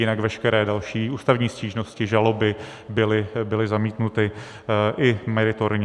Jinak veškeré další ústavní stížnosti, žaloby, byly zamítnuty i meritorně.